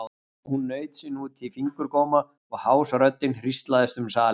Hún naut sín út í fingurgóma og hás röddin hríslaðist um salinn.